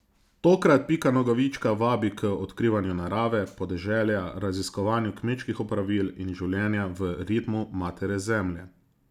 Tokrat Pika Nogavička vabi k odkrivanju narave, podeželja, raziskovanju kmečkih opravil in življenja v ritmu matere Zemlje.